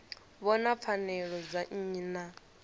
vhona pfanelo dza nnyi na